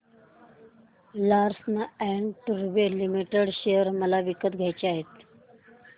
Larsen and टुर्बो limited share मला विकत घ्यायचे आहेत